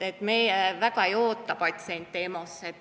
Meie väga ei oota patsiente EMO-sse.